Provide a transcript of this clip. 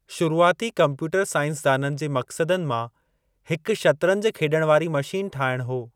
शुरूआती कम्प्यूटर साइन्सदाननि जे मक़सदनि मां हिकु शतरंज खेॾण वारी मशीन ठाहिणु हो।